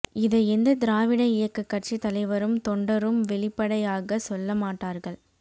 இதை எந்த திராவிட இயக்க கட்சி தலைவரும் தொண்டரும் வெளிப்படையாகச் சொல்ல மாட்டார்கள்